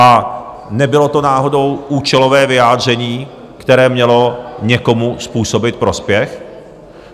A nebylo to náhodou účelové vyjádření, které mělo někomu způsobit prospěch?